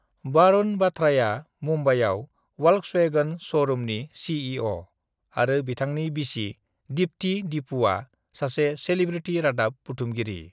"""वारुन बाथ्राआ मुम्बाइआव वल्क्सवेगन स'रुमनि सिइअ आरो बिथांनि बिसि, दिपथि """"दिपु"""" आ सासे सेलेब्रिथि रादाब बुथुमगिरि।"""